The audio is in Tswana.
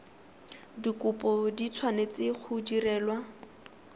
dikopo di tshwanetse go direlwa